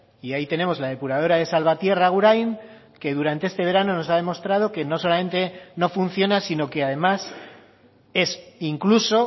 y ahí tenemos la depuradora de salvatierra agurain que durante este verano nos ha demostrado que no solamente no funciona sino que además es incluso